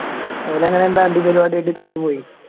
ഓലെ അങ്ങനെ എന്തോ അടി പരിപാടി ആയിട്ട് തോറ്റ് പോയി